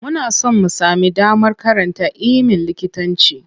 Muna son mu sami damar karanta iimin likitanci.